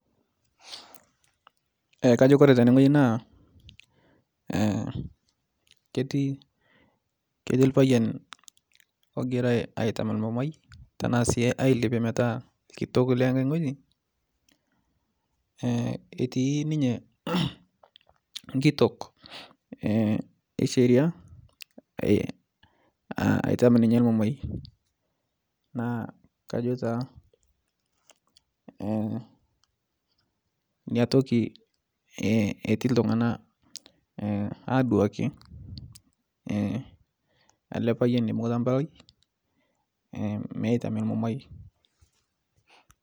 Kajo Kore tene ng'oji naa ketii lpayian ogirae oitam lmumai tanasii ailepie metaa lkitok lengae ng'oji etii ninye nkitok esheria aitam ninye lmumai nakajo taa niatoki etii ltungana aduaki ale payian eibunguta mpalai meitami lmumai.